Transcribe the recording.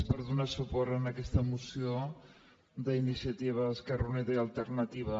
per donar suport a aquesta moció d’ini·ciativa · esquerra unida i alternativa